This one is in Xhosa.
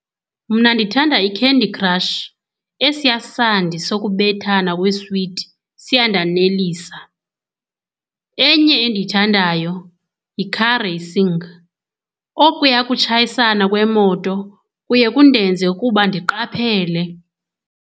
Mna ndithanda iCandy Crush. Esiya sandi sokubethana kweeswiti siyandanelisa. Enye endiyithandayo yi-car racing. Okuya kutshayisana kweemoto kuye kundenze ukuba ndiqaphele.